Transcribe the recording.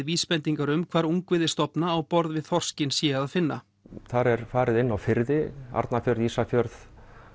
vísbendingar um hvar ungviði stofna á borð við þorskinn sé að finna þar er farið inn á firði Arnarfjörð Ísafjörð